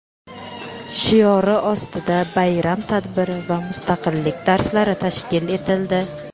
shiori ostida bayram tadbiri va "Mustaqillik darslari" tashkil etildi.